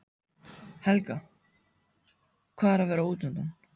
Helga: Hvað er að vera útundan?